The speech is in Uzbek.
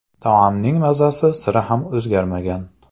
Taomning mazasi sira ham o‘zgarmagan.